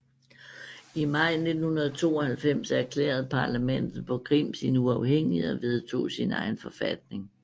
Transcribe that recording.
I maj 1992 erklærede parlamentet på Krim sin uafhængighed og vedtog sin egen forfatning